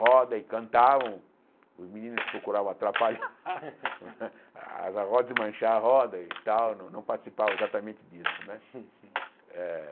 roda e cantavam, os meninos procuravam atrapalhar as rodas, desmanchar as rodas e tal, não não participava exatamente disso né eh.